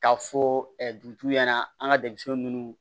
Ka fɔ dugutigi ɲɛna an ka denmisɛn munnu